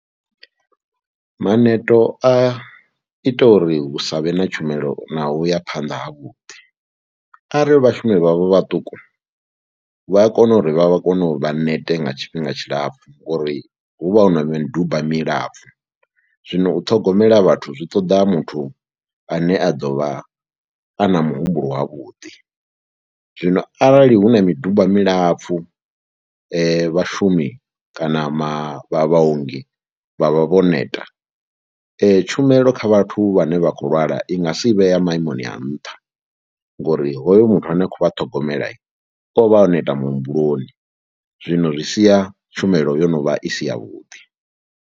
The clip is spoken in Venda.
Maneto a ita uri hu sa vhe na tshumelo naho ya phanḓa havhuḓi arali vhashumi vha vha vhaṱuku vha a kona uri vha kone u vha nete nga tshifhinga tshilapfhu ngori hu vha hu na miduba milapfhu. Zwino u ṱhogomela vhathu zwi ṱoḓa muthu ane a ḓo vha a na muhumbulo wavhuḓi. Zwino arali hu na miduba milapfhu vhashumi kana ma vha vhaongi vha vha vho neta tshumelo kha vhathu vhane vha khou lwala i nga si vhea maimoni a nṱha ngori hoyo muthu ane a khou vha ṱhogomela, o vha o neta muhumbuloni, zwino zwi sia tshumelo yo no vha i si yavhuḓi.